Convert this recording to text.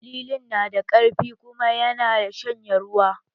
Lilin na da ƙarfi kuma ya na shanye ruwa